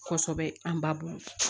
Kosɛbɛ an ba bɔn